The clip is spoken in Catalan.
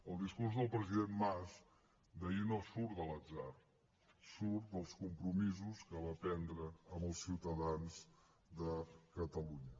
el discurs del president mas d’ahir no surt de l’atzar surt dels compromisos que va prendre amb els ciutadans de catalunya